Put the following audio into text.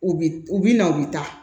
U bi u bi na u bi taa